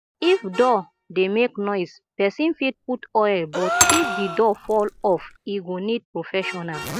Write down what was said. if door dey make noise person fit put oil but if di door fall off e go need professional